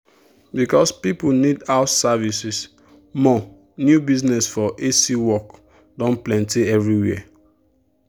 because people need house services more new business for a/c work don plenty everywhere.